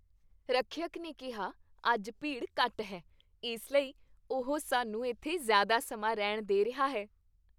ਰੱਖਿਅਕ ਨੇ ਕਿਹਾ ਅੱਜ ਭੀੜ ਘੱਟ ਹੈ। ਇਸ ਲਈ ਉਹ ਸਾਨੂੰ ਇੱਥੇ ਜ਼ਿਆਦਾ ਸਮਾਂ ਰਹਿਣ ਦੇ ਰਿਹਾ ਹੈ।